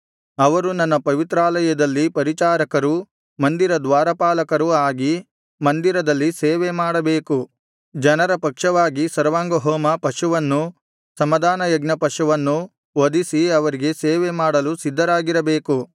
ಅವರು ನನ್ನ ಪವಿತ್ರಾಲಯದಲ್ಲಿ ಪರಿಚಾರಕರೂ ಮಂದಿರ ದ್ವಾರಪಾಲಕರೂ ಆಗಿ ಮಂದಿರದಲ್ಲಿ ಸೇವೆಮಾಡಬೇಕು ಜನರ ಪಕ್ಷವಾಗಿ ಸರ್ವಾಂಗಹೋಮ ಪಶುವನ್ನೂ ಸಮಾಧಾನಯಜ್ಞ ಪಶುವನ್ನೂ ವಧಿಸಿ ಅವರಿಗೆ ಸೇವೆ ಮಾಡಲು ಸಿದ್ಧರಾಗಿರಬೇಕು